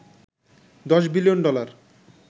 ১০ billion dollar